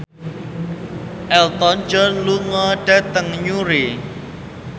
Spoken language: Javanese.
Elton John lunga dhateng Newry